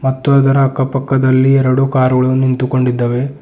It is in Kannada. ಮತ್ತು ಅದರ ಅಕ್ಕ ಪಕ್ಕದಲ್ಲಿ ಎರಡು ಕಾರುಗಳು ನಿಂತುಕೊಂಡೀವೆ.